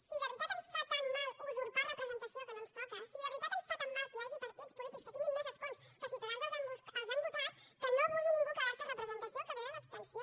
si de veritat ens fa tant mal usurpar representació que no ens toca si de veritat ens fa tant mal que hi hagi partits polítics que tinguin més escons que ciutadans els han votat que no vulgui ningú quedar se representació que ve de l’abstenció